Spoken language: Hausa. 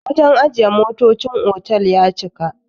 wajen ajiye motocin otal ya cika